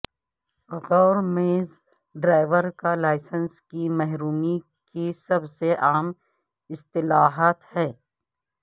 غور میز ڈرائیور کا لائسنس کی محرومی کی سب سے عام اصطلاحات ہیں